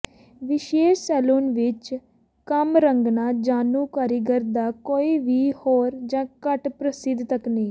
ਵਿਸ਼ੇਸ਼ ਸੈਲੂਨ ਵਿਚ ਕੰਮ ਰੰਗਦਾ ਜਾਣੂ ਕਾਰੀਗਰ ਦਾ ਕੋਈ ਵੀ ਹੋਰ ਜ ਘੱਟ ਪ੍ਰਸਿੱਧ ਤਕਨੀਕ